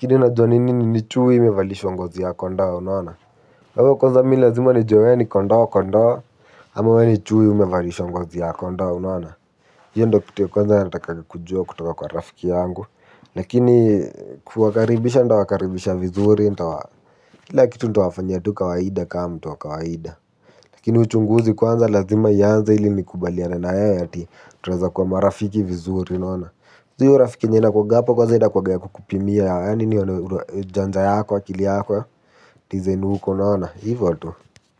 hadi unajua ni nini ni chui imevalishwa ngozi ya kondoo unaona wewe kwanza me lazima nijue we ni kondoo kondoo ama we ni chui imevalishwa ngozi ya kondoo unaona hiyo ni kitu ya kwanza natakaanga kujua kutoka kwa rafiki yangu lakini kuwakaribisha nitawakaribisha vizuri kila kitu nitawafanyia kawaida kama mtu wa kawaida juu kuna marafiki wengine wanakujanga wakijifanya ati venye ni wazuri.